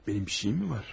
Mənim bir şeyim var?